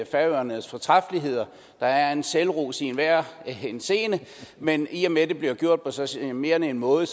færøernes fortræffeligheder der er en selvros i enhver henseende men i og med at det bliver gjort på så charmerende en måde